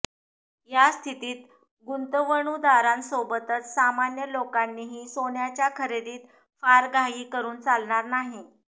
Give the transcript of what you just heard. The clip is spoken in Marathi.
या स्थितीत गुंतवणूदारांसोबतच सामान्य लोकांनीही सोन्याच्या खरेदीत फार घाई करून चालणार नाही